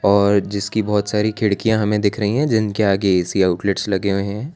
और जिसकी बहोत सारी खिड़कियां हमें दिख रही हैं जिनके आगे ऐ_सी आउटलेट्स लगे हुए हैं।